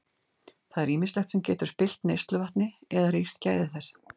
Það er ýmislegt sem getur spillt neysluvatni eða rýrt gæði þess.